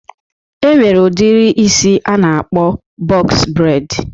E nwere udiri isi a na-akpọ bọks breid